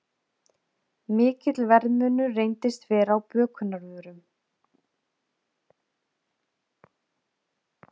Mikill verðmunur reyndist vera á bökunarvörum